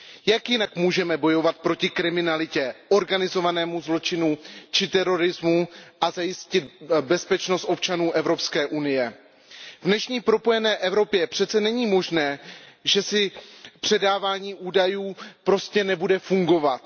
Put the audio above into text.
Jak jinak můžeme bojovat proti kriminalitě, organizovanému zločinu či terorismu a zajistit bezpečnost občanů Evropské unie? V dnešní propojené Evropě přece není možné, že předávání údajů prostě nebude fungovat.